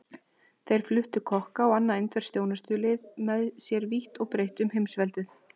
Þeir fluttu kokka og annað indverskt þjónustulið með sér vítt og breitt um heimsveldið.